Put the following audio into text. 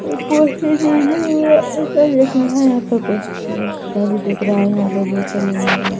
--ऊपर से दिख रहा है यहाँ पे बहोत यहाँ पर बहोत आए हैं।